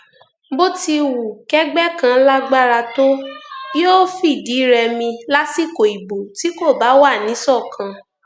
bó ti wu kẹgbẹ kan lágbára tó yóò fìdí rẹmi lásìkò ìbò tí kò bá wà níṣọkan